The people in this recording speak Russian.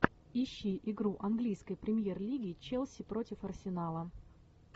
ищи игру английской премьер лиги челси против арсенала